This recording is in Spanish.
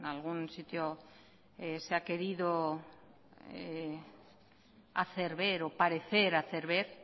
algún sitio se ha querido hacer ver o parecer hacer ver